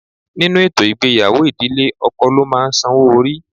Nínú ètò ìgbéyàwó, ìdílé ọkọ ló máa ń sanwó orí.